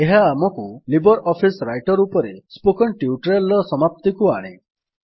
ଏହା ଆମକୁ Libre Office Writer ଉପରେ ସ୍ପୋକେନ୍ ଟ୍ୟୁଟୋରିଆଲ୍ ର ସମାପ୍ତିକୁ ଆଣେ